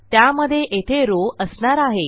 त्यामधे येथे रॉव असणार आहे